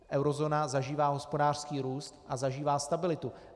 Eurozóna zažívá hospodářský růst a zažívá stabilitu.